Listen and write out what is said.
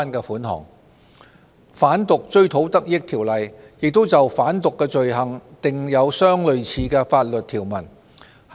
此外，《販毒條例》亦就販毒罪行訂有相類似的條文。